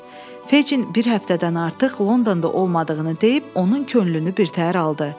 Fejin bir həftədən artıq Londonda olmadığını deyib onun könlünü birtəhər aldı.